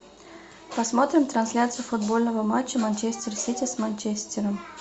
посмотрим трансляцию футбольного матча манчестер сити с манчестером